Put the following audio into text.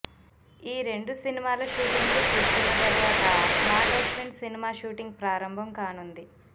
ఈ రెండు సినిమాల షూటింగ్ లు పూర్తైన తరువాత నాగ్ అశ్విన్ సినిమా షూటింగ్ ప్రారంభం కానుంది